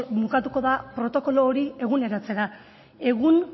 mukatuko da protokolo hori eguneratzera egun